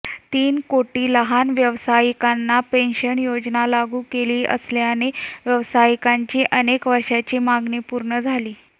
तीन कोटी लहान व्यावसायिकांना पेन्शन योजना लागू केली असल्याने व्यावसायिकांची अनेक वर्षांची मागणी पूर्ण झाली